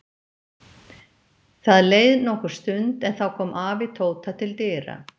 Það leið nokkur stund en þá kom afi Tóta til dyra.